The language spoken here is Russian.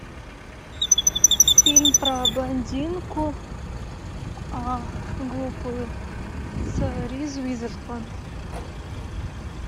фильм про блондинку глупую с риз уизерспун